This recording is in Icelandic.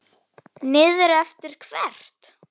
Niður eftir hvert?